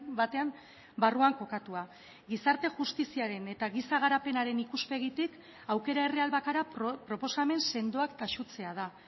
batean barruan kokatua gizarte justiziaren eta giza garapenaren ikuspegitik aukera erreal bakarra proposamen sendoak taxutzea da